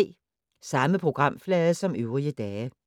Samme programflade som øvrige dage